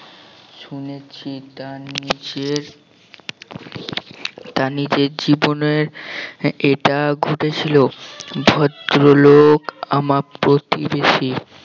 শুনেছি তা নিজের তা নিজের জীবনের এটা ঘটেছিল ভদ্রলোক আমার প্রতিবেশী